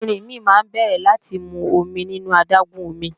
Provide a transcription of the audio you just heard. Erinmi náà bẹ̀rẹ̀ láti mu omi nínú adágún omi